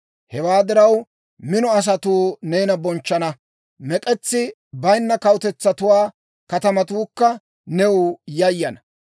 Hewaa diraw, mino asatuu neena bonchchana; mek'etsi bayinna kawutetsatuwaa katamatuukka new yayana.